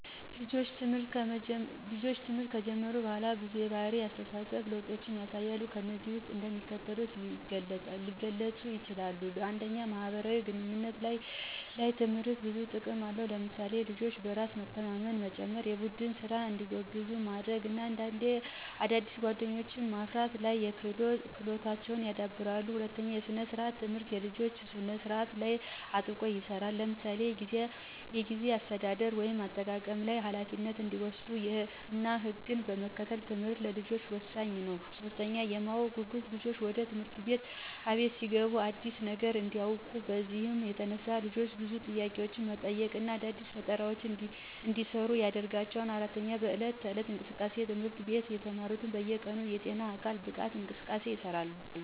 ልጆች ትምህርት ከጀመሩ በኋላ ብዙ የባህሪ እነ የአስተሳሰብ ለውጦችን ያሳያሉ። ከነዚህም ውስጥ እንደሚከተሉት የገለጹ ይችላሉ። 1, ማህበራዊ ግንኙነቶች፦ ላይ ትምህርት ብዙ ጥቅም አለው ለምሳሌ፦ ልጆች በራስ መተማመንን መጨመራ፣ የቡድን ስራ እንዲጎብዙ ማድርግ እና አዳዲስ ጓደኞችዎ ማፍርት ላይ ክህሎታቸው ይዳብራል። 2, ሰነ-ስርአት፦ ትምህርት የልጆች ስነ ስርአት ላይ አጥብቆ ይሰራል ለምሳሌ፦ የጊዜ አሰተዳደር (አጠቃቀም ላይ) ፣ኋላፊነት እንዲወሰድ እና ህግን መከተል ትምህርት ለልጆች ወሳኝ ነው። 3, የማወቅ ጉጉት፦ ልጆች ወደ ትምህርት አቤት ሲገቡ አዲስ ነገር እንዲውቁ ነው። በዚህም የተነሳ ልጆች ብዙ ጥያቄዎች መጠየቅ እና አዲስ ፈጠራዎችን እንዲሰሩ ያደርጋቸዋል። 4, በዕለት ተዕለት እንቅስቃሴዎች፦ ትምህርት አቤት የተማሩት በየ ቀኑ የጤና እነ የአካል ማብቃት እንቅስቃሴ ይሰራሉ።